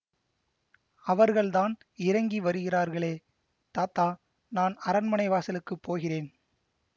அவர்கள்தான் இறங்கி வருகிறார்களே தாத்தா நான் அரண்மனை வாசலுக்குப் போகிறேன்